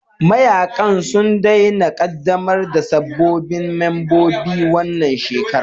Mayaƙan sun daina ƙaddamar da sabbin membobin wannan shekara